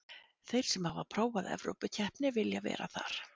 Þeir sem hafa prófað evrópukeppni vilja vera þar.